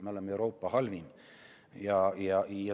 Me oleme Euroopa halvim.